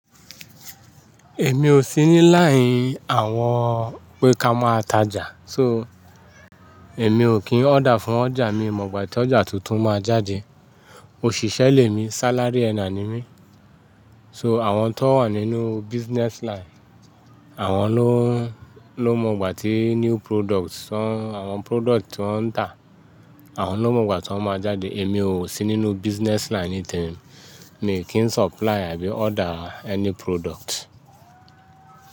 Èmi ò sí ní láìí àwọn pé ká máa ta ọjà. So, èmi ò kín ọ́dà fún ọjà mi mọ̀ gbà tí ọjà tuntun máa jáde. Òṣìṣẹ́ lémi, salary earner ni mí. So àwọn t'wọ́n wà nínú business line, àwọn ló, ló mọ gbà tí new product, àwọn product tí wọ́n ń tà, àwọn ló mọ gbà tí wọ́n máa jáde. Èmi ò sí nínú business line nìtẹ̀rín, mi kì í supply àbí order ẹni product.